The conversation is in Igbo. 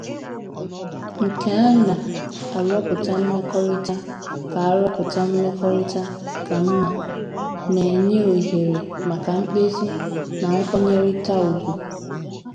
Nke a na - arụpụta mmekọrịta ka arụpụta mmekọrịta ka mma, na - enye ohere maka mkpezi na nkwanyerịta ùgwù.